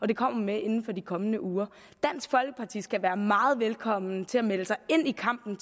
det kommer den med inden for de kommende uger dansk folkeparti skal være meget velkommen til at melde sig ind i kampen